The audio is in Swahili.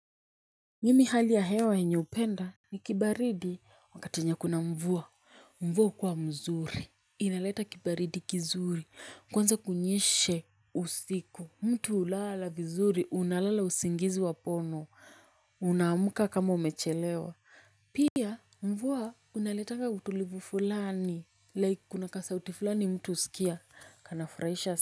Mimi hali ya hewa enye upenda ni kibaridi wakati wenye kuna mvua mvua hukuwa mzuri. Inaleta kibaridi kizuri kwanza kunyeshe usiku mtu ulala vizuri unalala usingizi wapono unaamka kama umechelewa pia mvua unaleta utulivu fulani like kuna kasauti fulani mtu usikia kana furahisha.